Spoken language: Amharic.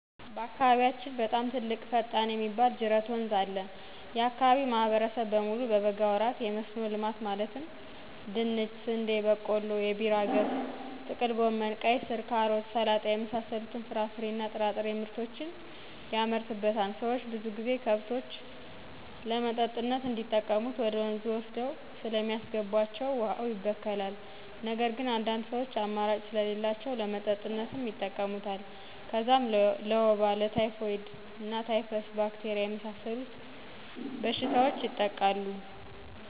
በአካባቢያችን በጣም ትልቅ ፈጣም የሚባል ጅረት ወንዝ አለ። የአካባቢው ማህበረሰብ በሙሉ በበጋ ወራት የመስኖ ልማት ማለትም :- ድንች, ስንዴ, በቆሎ, የቢራ ገብስ, ጥቅል ጎመን, ቀይስር, ካሮት, ሰላጣ🥬 የመሳሰሉትን ፍራፍሬ እና ጥራጥሬ ምርቶችን የመርትበታል። ሰዎች ብዙ ጊዜ ከብቶች ለመጠጥነት እንዲጠቀሙት ወደ ወንዙ ወስደው ስለሚያስገቡዋቸው ውሀው ይበከላል። ነገር ግን አንዳንድ ሰዎች አማራጭ ስለሌላቸው ለመጠጥነት ይጠቀሙታል። ከዛም ለወባ, ለታይፎይድ እና ታይፈስ, ባክቴሪያ የመሳሰሉ በሽታዎች ይጠቃሉ።